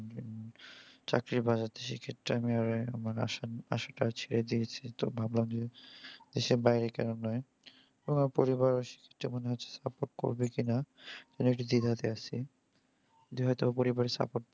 চাকরি পাওয়া যাচ্ছে সেক্ষেত্রে আমি আমার আশাটা ছেড়ে দিয়েছি। তো ভাবলাম যে দেশের বাইরে কেনও নয়। আমার পরিবার তেমন support করবে কিনা মানে একটু দ্বিধাতে আছি। যে হয়ত পরিবারের support